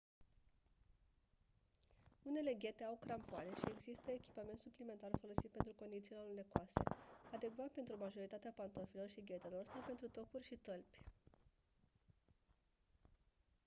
unele ghete au crampoane și există echipament suplimentar folosit pentru condițiile alunecoase adecvat pentru majoritatea pantofilor și ghetelor sau pentru tocuri și tălpi